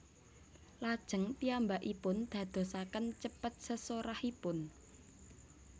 Lajeng piyambakipun dadosaken cepet sesorahipun